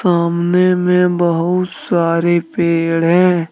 सामने में बहुत सारे पेड़ है।